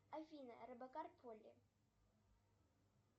афина робокар полли